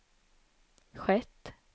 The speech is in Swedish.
skett